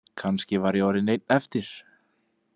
Kannski var ég orðinn einn eftir.